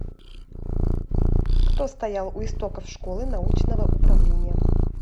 кто стоял у истоков школы научного управления